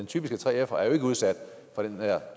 typiske 3fer er jo ikke udsat for den her